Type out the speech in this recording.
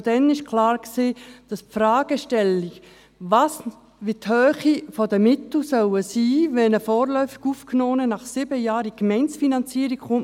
Schon damals war klar, dass man die Fragestellung anschauen muss, wie die Höhe der Mittel für einen vorläufig Aufgenommenen sein soll, wenn er nach sieben Jahren in die Gemeindefinanzierung kommt.